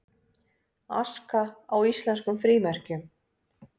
Aska á íslenskum frímerkjum